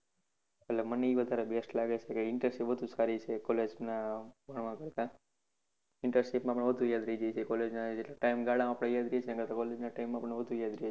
એટલે મને એ વધારે best લાગે છે internship વધુ સારી છે college ના ભણવા કરતા internship માં પણ વધુ યાદ રહે છે college ના એટલા time ગાણા માં આપણે યાદ રહે છે એના કરતા college ના time ગાણા માં વધુ યાદ રહે છે.